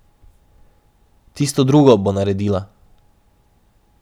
Tisto drugo bo naredila.